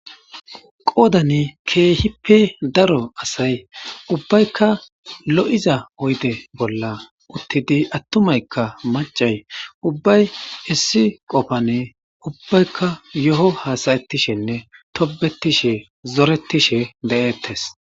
qoodani keehippe daro asay ubbaykka lo7iza oyde bolla uttidi attumaykka macay ubbay issi qofane ubbaykka yo7o hasayettishenne tobetishe zoretishe de7eettes